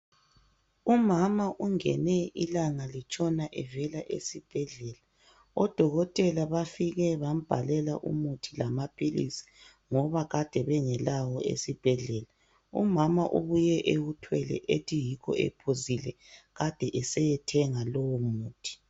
Umama ungene ilanga litshona evela esibhedlela. ODokotela bafike bambhalela umuthi lamaphilisi ngoba kade bengelawo esibhedlela. Umama ubuye ewuthwele ethi yikho ephuzile kade eseyethenga lowo muthi.